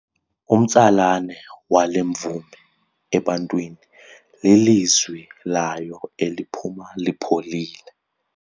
Umtsalane wale mvumi ebantwini lilizwi layo eliphuma lipholile.